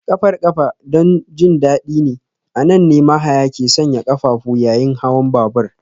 Ƙafar ƙafa don jin daɗi ne, a nan ne mahaya ke sanya ƙafafu yayin hawan babur